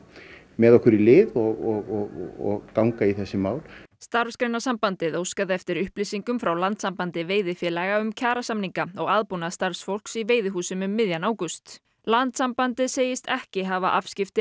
með okkur í lið og ganga í þessi mál Starfsgreinasambandið óskaði eftir upplýsingum frá Landssambandi veiðifélaga um kjarasamninga og aðbúnað starfsfólks í veiðihúsum um miðjan ágúst landssambandið segist ekki hafa afskipti